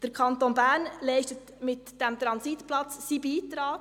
Der Kanton Bern leistet mit diesem Transitplatz seinen Beitrag.